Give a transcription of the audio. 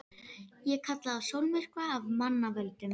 Ég kalla það sólmyrkva af mannavöldum.